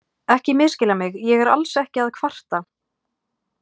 Ekki misskilja mig, ég er alls ekki að kvarta.